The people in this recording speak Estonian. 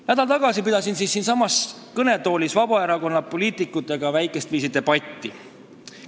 Nädal tagasi pidasin siinsamas kõnetoolis Vabaerakonna poliitikutega väikest viisi debatti.